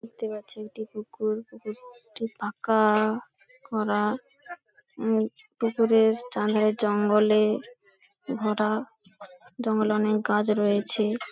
দেখতে পাচ্ছেন একটি পুকুর। পুকুরটি ফাঁ-কা-আ করা উম পুকুরের চারধারে জঙ্গলে ভরা জঙ্গলে অনেক গাছ রয়েছে।